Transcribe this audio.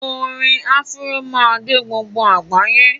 Orin Afro má dé gbogbo àgbáyé